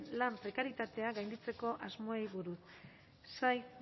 lan prekaritatea gainditzeko asmoei buruz saez